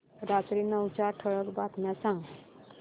रात्री नऊच्या ठळक बातम्या सांग